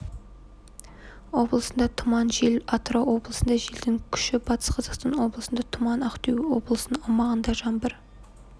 облысында тұман жел атырау облысында желдің күші батыс қазақстан облысында тұман ақтөбе облысының аумағында жаңбыр